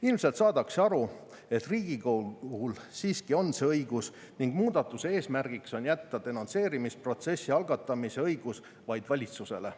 Ilmselt saadakse aru, et Riigikogul siiski on see õigus, ning muudatuse eesmärgiks on jätta denonsseerimist protsessi algatamise õigus vaid valitsusele.